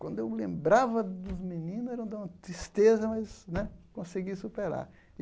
Quando eu lembrava dos meninos, era de uma tristeza, mas né consegui superar.